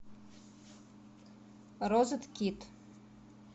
розет кит